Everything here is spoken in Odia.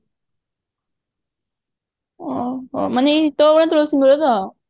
ଓହୋ ମାନେ ଏଇ ତୋ ଅଗଣାର ତୁଳସୀ ମୁଁ ରେ ତ